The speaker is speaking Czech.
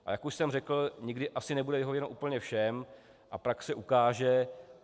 A jak už jsem řekl, nikdy asi nebude vyhověno úplně všem a praxe ukáže.